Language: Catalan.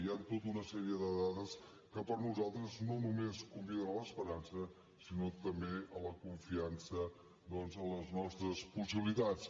hi han tota una sèrie de dades que per nosaltres no només conviden a l’esperança sinó també a la confiança doncs en les nostres possibilitats